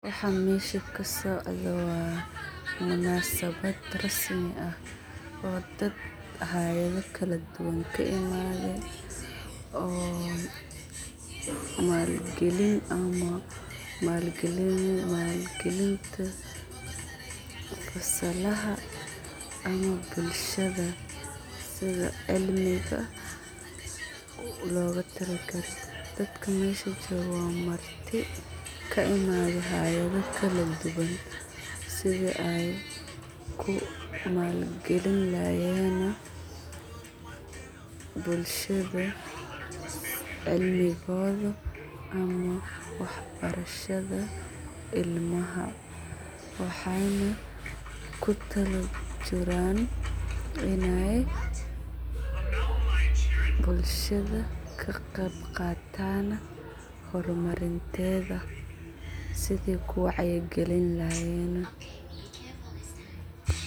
Waxan mesha kasocdo, wa munasabaad rasmi ah, oo dad hayadha kaladuduwan kaimade, oo maalgalin ama maalgalin taas, oo fasalaha ama bulshada, sidaa cilmiga logutalagaye, dadka mesha jogoo wa marti, kaimade halada lakaduwan, sidaa ayy kumaal galin laxaayen, bulshada cilmogoda ama waxbarashada ilmaha, waxayna kutalajiraan inay bulshada kagebgatan hormarinteda, sidii kuwacyi galinlaxayen .